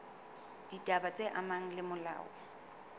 ditaba tse amanang le molao